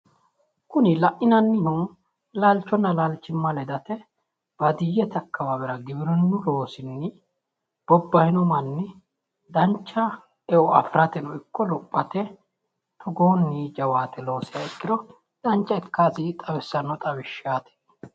Kuni la'inannihu laalchonna laalchimma ledate, baadiyyete akawaawera giwirinnu loosinni bobahino manni, dancha eo afirateno ikko lophate togoonni jawaate loosiha ikkiro dancha ikkasi xawissanno xawishshaati.